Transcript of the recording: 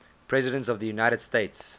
presidents of the united states